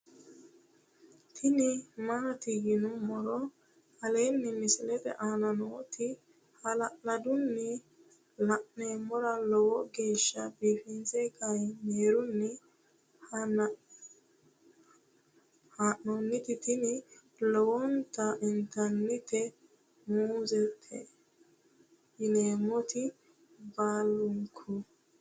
tini maati yinummoro aleenni misilete aana nooti hala'ladunni la'nummoro lowo geeshsha biiffe kaamerunni haa'nooniti tini laalote intannite muzete yineemmoreeti baalunku